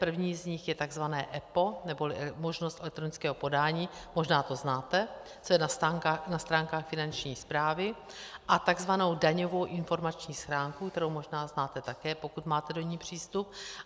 První z nich je tzv. EPO neboli možnost elektronického podání, možná to znáte, co je na stránkách Finanční správy, a tzv. daňovou informační schránku, kterou možná znáte také, pokud máte do ní přístup.